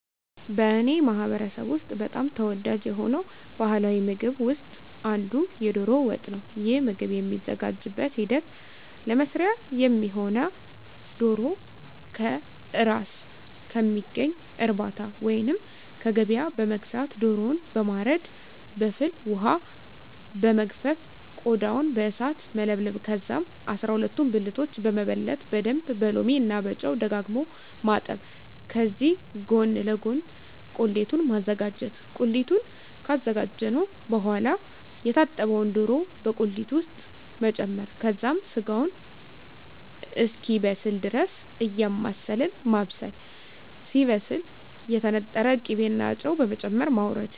በእኔ ማህበረሰብ ውስጥ በጣም ተወዳጅ የሆነው ባሀላዊ ምግብ ውስጥ አንዱ የዶሮ ወጥ ነው። ይህ ምግብ የሚዘጋጅበት ሂደት ለመስሪያ የሚሆነውነ ዶሮ ከእራስ ከሚገኝ እርባታ ወይንም ከገበያ በመግዛት ዶሮውን በማረድ በፍል ወሀ በመግፈፍ ቆዳውን በእሳት መለብለብ ከዛም አስራሁለቱን ብልቶች በመበለት በደንብ በሎሚ እና ጨው ደጋግሞ ማጠብ ከዚህ ጎን ለጎን ቁሊቱን ማዘጋጀት ቁሊቱን ካዘጋጀን በሆዋላ የታጠበውን ዶሮ በቁሊት ውስጥ መጨመር ከዛም ስጋው እስኪበስል ድረስ እያማሰልን ማብሰል ሲበስል የተነጠረ ቅቤ እና ጨው በመጨመር ማወረድ።